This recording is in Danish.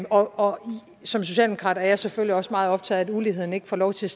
og som socialdemokrat er jeg selvfølgelig også meget optaget af at uligheden ikke får lov til